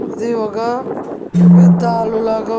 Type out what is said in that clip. ఇది ఒగ యుద్ధాలు లాగా ఉన్.